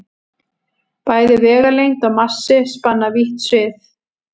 Bæði vegalengd og massi spanna vítt svið.